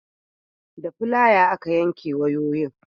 da filaya aka yanke wayoyin